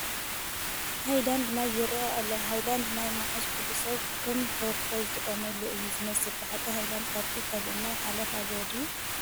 ሃይላንድ ማይ ይርአ ኣሎ፡፡ ሃይላንድ ማይ ምሓዝ ኩሉ ሰብ ከም ፕሮቶኮል ዝተቐበሎ እዩ ዝመስል፡፡ ብሓቂ ሃይላንድ ካብቲ ካልእ ማይ ሓለፋ ኣለዎ ድዩ?